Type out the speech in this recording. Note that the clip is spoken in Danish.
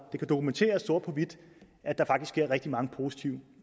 det kan dokumenteres sort på hvidt at der faktisk sker rigtig mange positive